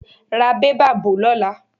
Ra bẹ́bà bo lóla.